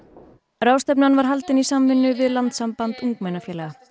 ráðstefnan var haldin í samvinnu við Landssamband ungmennafélaga